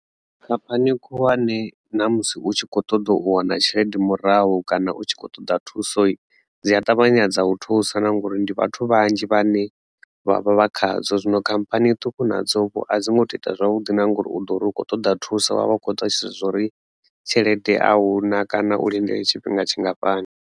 Khamphani khulwane na musi u tshi kho ṱoḓa u wana tshelede murahu kana u tshi khou ṱoḓa thuso dzi a ṱavhanya dza u thusa na ngori ndi vhathu vhanzhi vhane vhavha vha khadzo, zwino khamphani ṱhukhu nadzo vho a dzi ngo to ita zwavhuḓi na ngauri u ḓo uri u kho ṱoḓa thusa wa vha u kho ḓivha zwori tshelede ahuna kana u lindele tshifhinga tshingafhani.